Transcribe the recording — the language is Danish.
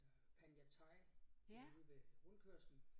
Øh Panya Thai derude ved rundkørslen